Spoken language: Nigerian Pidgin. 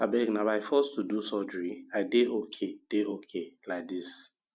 abeg na by force to do surgery i dey okay dey okay like dis